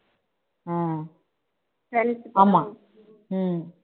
ஆஹ் ஆமா ஹம்